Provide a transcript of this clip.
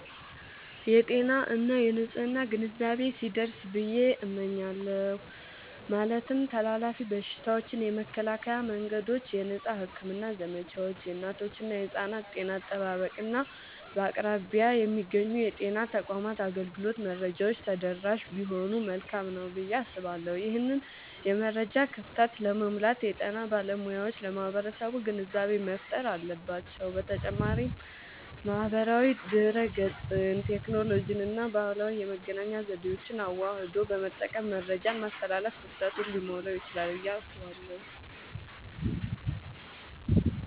የጤና እና የንፅህና ግንዛቤ ቢደርስ ብየ እመኛለሁ። ማለትም ተላላፊ በሽታዎችን የመከላከያ መንገዶች፣ የነፃ ሕክምና ዘመቻዎች፣ የእናቶችና የሕፃናት ጤና አጠባበቅ፣ እና በአቅራቢያ የሚገኙ የጤና ተቋማት አገልግሎት መረጃዎች ተደራሽ ቢሆኑ መልካም ነዉ ብየ አስባለሁ። ይህንን የመረጃ ክፍተት ለመሙላት የጤና ባለሙያዎች ለማህበረሰቡ ግንዛቤ መፍጠር አለባቸዉ። በተጨማሪም ማህበራዊ ድህረገጽን፣ ቴክኖሎጂንና ባህላዊ የመገናኛ ዘዴዎችን አዋህዶ በመጠቀም መረጃን ማስተላለፍ ክፍተቱን ሊሞላዉ ይችላል ብየ አስባለሁ።